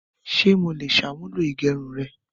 Ṣé mo lè ṣàmúlò igerun rẹ?